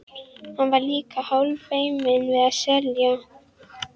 Hann var líka hálffeiminn við að selja.